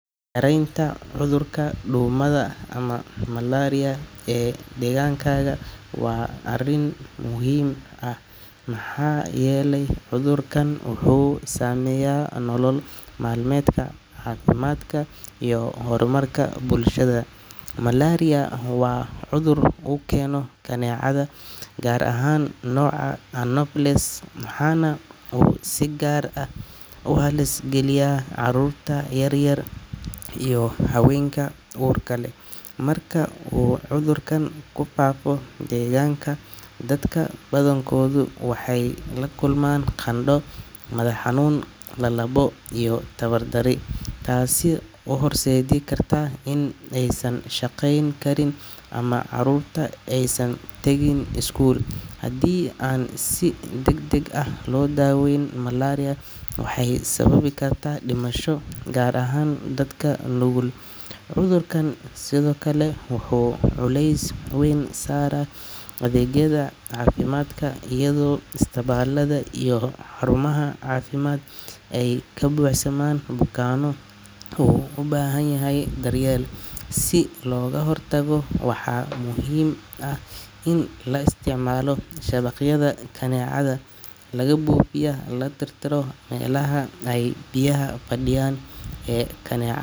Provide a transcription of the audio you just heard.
Yaraynta cudurka duumada ama malaria ee deegaankaaga waa arrin muhiim ah maxaa yeelay cudurkan wuxuu saameeyaa nolol maalmeedka, caafimaadka iyo horumarka bulshada. Malaria waa cudur uu keeno kaneecada, gaar ahaan nooca Anopheles, waxaana uu si gaar ah u halis geliyaa carruurta yar yar iyo haweenka uurka leh. Marka uu cudurka ku faafo deegaanka, dadka badankoodu waxay la kulmaan qandho, madax-xanuun, lalabo, iyo tabardarri, taasoo u horseedi karta in aysan shaqeyn karin ama carruurta aysan tagin iskuul. Haddii aan si degdeg ah loo daaweyn, malaria waxay sababi kartaa dhimasho gaar ahaan dadka nugul. Cudurkan sidoo kale wuxuu culeys weyn saaraa adeegyada caafimaadka, iyadoo isbitaallada iyo xarumaha caafimaad ay ka buuxsamaan bukaanno u baahan daryeel. Si looga hortago, waxaa muhiim ah in la isticmaalo shabaqyada kaneecada laga buufiyay, la tirtiro meelaha ay biyaha fadhiyaan ee kanee.